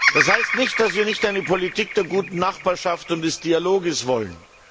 Das heißt nicht, dass wir nicht eine Politik der guten Nachbarschaft und des Dialoges wollen.